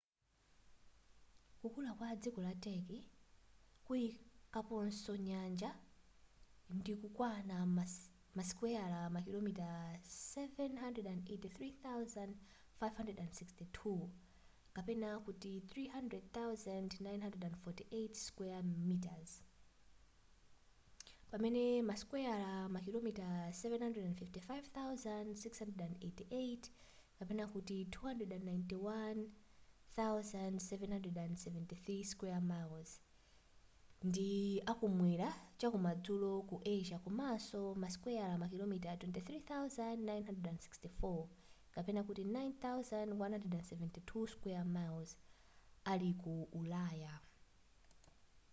kukula kwa dziko la turkey kuyikaponso nyanja ndilokwana masikweya makilomita 783,562 300,948 sq mi pamene masikweya makilomita 755,688 291,773 sq mi ndi akumwera chakumadzulo ku asia komanso masikweya makilomita 23,764 9,174 sq mi ali ku ulaya